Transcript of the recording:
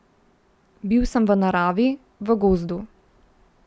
Bil sem v naravi, v gozdu.